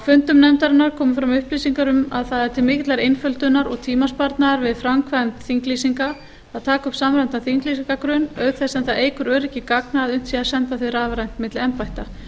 fundum nefndarinnar komu fram upplýsingar um að það er til mikillar einföldunar og tímasparnaðar við framkvæmd þinglýsinga að taka upp samræmdan þinglýsingargrunn auk þess sem það eykur öryggi gagna að unnt sé að senda þau rafrænt milli embætta